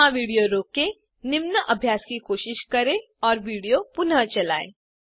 यहाँ विडियो रोकें निम्न अभ्यास की कोशिश करें और विडियो पुनः चलायें